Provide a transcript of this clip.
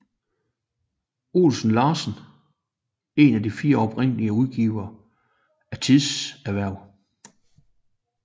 Olesen Larsen en af de fire oprindelige udgivere af Tidehverv